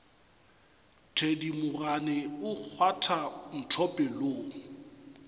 thedimogane o kgwatha ntho pelong